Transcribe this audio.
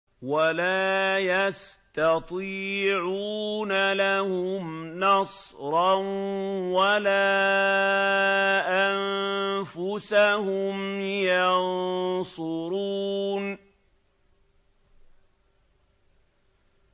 وَلَا يَسْتَطِيعُونَ لَهُمْ نَصْرًا وَلَا أَنفُسَهُمْ يَنصُرُونَ